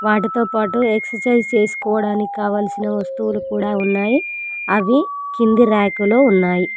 వాటితో పాటు ఎక్సర్సైజ్ చేసుకోవడానికి కావలసిన వస్తువులు కూడా ఉన్నాయి అవి కింది రాక్ లో ఉన్నాయి.